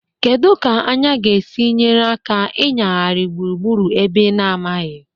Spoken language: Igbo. Kedu ka anya ga-esi nyere aka ịnyagharị gburugburu ebe ị na-amaghị?